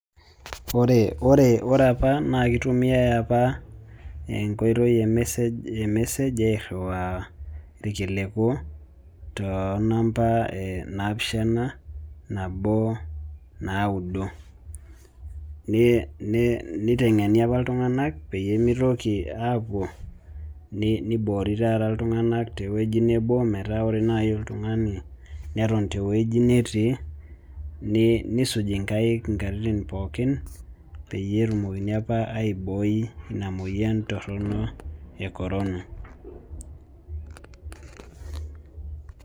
Ore apa naa kitumiae apa enkoitoi e message airiwaa ilkiliku, too nampa, naapishana, nabo, naudo. nitengeni apa iltunganak pee mitoki aapuo, nitengeni apa iltunganak, pee ore naaji oltungani neton te wueji netii, nisuj inkaik inkatitin pookin, peyie etumokini apa aibooi Ina moyian, torono e korona.